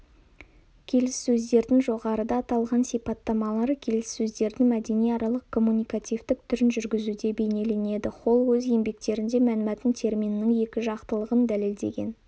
келіссөздердің жоғарыда аталған сипаттамалары келіссөздердің мәдениаралық-коммуникативтік түрін жүргізуде бейнеленеді холл өз еңбектерінде мәнмәтін терминінің екіжақтылығын дәлелдеген